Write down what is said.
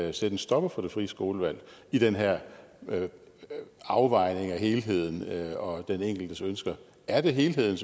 at sætte en stopper for det frie skolevalg i den her afvejning af helheden og den enkeltes ønsker er det helheden